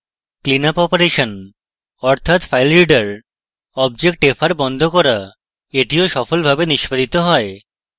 cleanup operation অর্থাৎ filereader object fr বন্ধ করা এটিও সফলভাবে নিষ্পাদিত হয়